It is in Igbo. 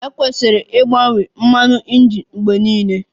E kwesiri ịgbanwe mmanụ injin mgbe niile.